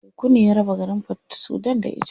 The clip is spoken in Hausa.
Teku ne ya raba garin Port Sudan da Egypt.